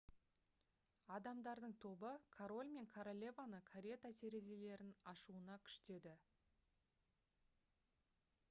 адамдардың тобы король мен королеваны карета терезелерін ашуына күштеді